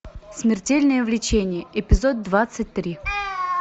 смертельное влечение эпизод двадцать три